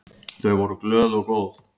Þau voru glöð og góð.